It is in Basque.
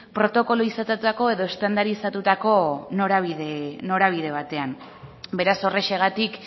protokolizatutako edo estandarizatutako norabide batean beraz horrexegatik